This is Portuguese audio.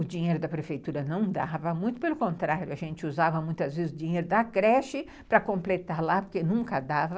O dinheiro da prefeitura não dava muito, pelo contrário, a gente usava muitas vezes o dinheiro da creche para completar lá, porque nunca dava.